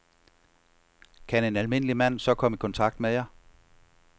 Kan en almindelig mand så komme i kontakt med jer?